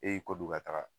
E y'i kɔ don ka taga